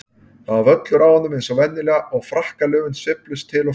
Það var völlur á honum eins og venjulega og frakkalöfin sveifluðust til og frá.